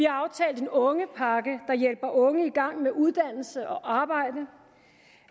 aftalt en ungepakke der hjælper unge i gang med uddannelse og arbejde